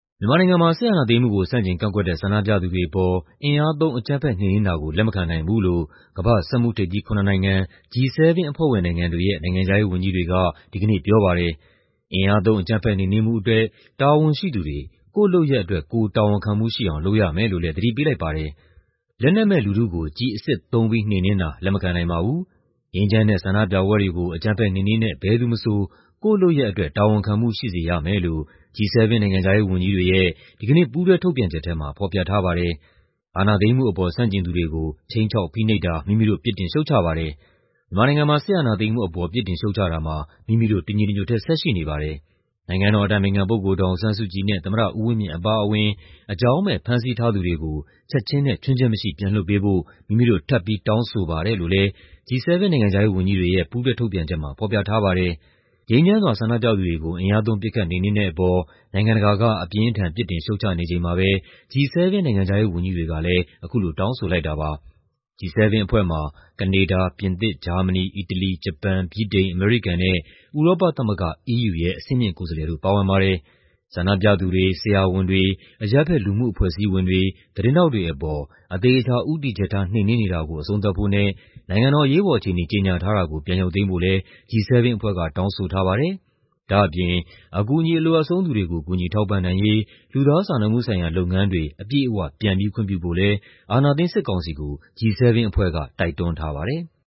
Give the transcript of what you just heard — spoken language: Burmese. မြန်မာနိုင်ငံမှာ စစ်အာဏာသိမ်းမှုကို ဆန့်ကျင်ကန့်ကွက်တဲ့ ဆန္ဒပြသူတွေအပေါ် အင်အားသုံး အကြမ်းဖက် နှိမ်နင်းတာကို လက်မခံနိုင်ဘူးလို့ ကမ္ဘာ့ စက်မှုထိပ်သီး ၇ နိုင်ငံ G7 အဖွဲ့ဝင်နိုင်ငံတွေရဲ့ နိုင်ငံခြားရေးဝန်ကြီးတွေက ဒီကနေ့ပြောပါတယ်။ အင်အားသုံး အကြမ်းဖက် နှိမ်နင်းမှုအတွက် တာဝန်ရှိသူတွေ ကိုယ့်လုပ်ရပ်အတွက် ကိုယ်တာဝန်ခံမှုရှိအောင် လုပ်ရမယ်လို့လည်း သတိပေးလိုက်ပါတယ်။ "လက်နက်မဲ့လူထုကို ကျည်အစစ်သုံးပြီး နှိမ်နင်းတာကို လက်မခံနိုင်ပါဘူး။ ငြိမ်းချမ်းတဲ့ဆန္ဒပြပွဲတွေကို အကြမ်းဖက်နှိမ်နင်းတဲ့ ဘယ်သူမဆို ကိုယ့်လုပ်ရပ်အတွက် တာဝန်ခံမှုရှိစေရမယ်။" လို့ G7 နိုင်ငံခြားရေးဝန်ကြီးတွေရဲ့ ဒီကနေ့ ပူးတွဲထုတ်ပြန်ချက်ထဲမှာ ဖော်ပြထားပါတယ်။ "အာဏာသိမ်းမှုအပေါ် ဆန့်ကျင်သူတွေကို ခြိမ်းခြောက် ဖိနှိပ်တာ မိမိတို့ ပြစ်တင်ရှုတ်ချပါတယ်။ မြန်မာနိုင်ငံမှာ စစ်အာဏာသိမ်းမှုအပေါ် ပြစ်တင်ရှုတ်ချတာမှာ မိမိတို့ တညီတညွတ်ထဲ ဆက်ရှိနေပါတယ်။ နိုင်ငံတော်အတိုင်ပင်ခံပုဂ္ဂိုလ် ဒေါ်အောင်ဆန်းစုကြည်နဲ့ သမ္မတဦးဝင်းမြင့်အပါအဝင် အကြောင်းမဲ့ ဖမ်းဆီးထားသူတွေကို ချက်ခြင်းနဲ့ ခြွင်းချက်မရှိ ပြန်လွှတ်ပေးဖို့ မိမိတို့ ထပ်ပြီး တောင်းဆိုပါတယ်။" လို့လည်း G7 နိုင်ငံခြားရေးဝန်ကြီးတွေရဲ့ ပူးတွဲထုတ်ပြန်ချက်မှာ ဖော်ပြထားပါတယ်။ ငြိမ်းချမ်းစွာ ဆန္ဒပြသူတွေကို အင်အားသုံး ပစ်ခတ် နှိမ်နင်းတဲ့အပေါ် နိုင်ငံတကာက အပြင်းအထန် ပြစ်တင်ရှုတ်ချနေချိန်မှာပဲ G7 နိုင်ငံခြားရေးဝန်ကြီးတွေကလည်း အခုလို တောင်းဆိုလိုက်တာပါ။ G7 အဖွဲ့မှာ ကနေဒါ၊ ပြင်သစ်၊ ဂျာမနီ၊ အီတလီ၊ ဂျပန်၊ ဗြိတိန်၊ အမေရိကန်နဲ့ ဥရောပသမဂ္ဂ EU ရဲ့ အဆင့်မြင့်ကိုယ်စားလှယ်တို့ ပါဝင်ပါတယ်။ ဆန္ဒပြသူတွေ၊ ဆရာဝန်တွေ၊ အရပ်ဘက်လူမှုအဖွဲ့အစည်းတွေ၊ သတင်းထောက်တွေအပေါ် အသေအချာ ဦးတည်ချက်ထား နှိမ်နင်းနေတာကို အဆုံးသတ်ဖို့နဲ့ နိုင်ငံတော် အရေးပေါ်အခြေအနေ ကြေညာထားတာကို ရုပ်သိမ်းဖို့လည်း G7 အဖွဲ့က တောင်းဆိုထားပါတယ်။ ဒါ့အပြင် အကူအညီ အလိုအပ်ဆုံးသူတွေကို ကူညီထောက်ပံ့နိုင်ရေး လူသားစာနာမှုဆိုင်ရာလုပ်ငန်းတွေ အပြည့်အဝ ပြန်ပြီးခွင့်ပြုဖို့လည်း အာဏာသိမ်းစစ်ကောင်စီကို G7 အဖွဲ့က တိုက်တွန်းထားပါတယ်။